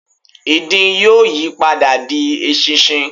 ìdin yóò yí padà di eṣinṣin